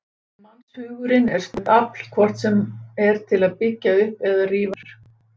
Mannshugurinn er stórkostlegt afl, hvort sem er til að byggja upp eða rífa niður.